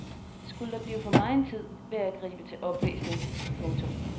Skulle der blive for megen tid vil jeg gribe til oplæsning. punktum